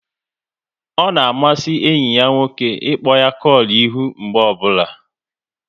Ọ na amasị enyi ya nwoke ịkpọ ya kolu ihu mgbe ọbụla